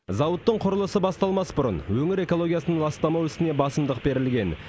зауыттың құрылысы басталмас бұрын өңір экологиясын ластамау ісіне басымдық берілген